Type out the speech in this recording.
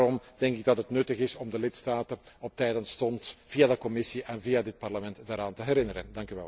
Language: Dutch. Daarom denk ik dat het nuttig is om de lidstaten op tijd en stond via de Commissie en via dit Parlement daaraan te herinneren.